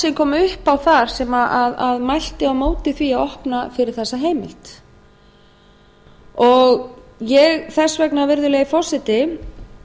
sem kom upp á þar sem mælti á móti því að opna fyrir þessa heimild þess vegna virðulegi forseti